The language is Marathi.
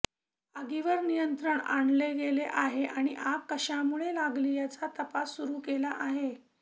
आगीवर नियंत्रण आणले गेले आहे आणि आग कशामुळे लागली याचा तपास सुरू केला आहे